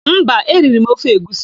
Mba, eriri m ofe egwusi.